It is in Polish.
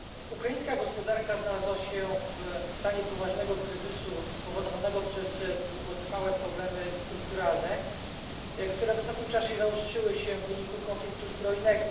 Ukraińska gospodarka znalazła się w stanie poważnego kryzysu spowodowanego przez długotrwałe problemy strukturalne, które w ostatnim czasie zaostrzyły się w wyniku konfliktu zbrojnego.